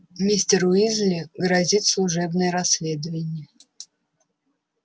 мистеру уизли грозит служебное расследование